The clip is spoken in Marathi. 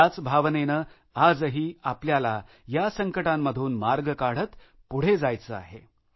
याच भावनेनं आजही आपल्याला या संकटांमधून मार्ग काढत पुढे जायचे आहे